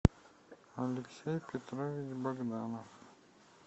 алексей петрович богданов